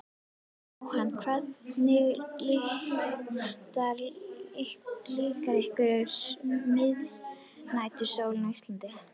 Jóhann: Hvernig líkar ykkur miðnætursólin á Íslandi?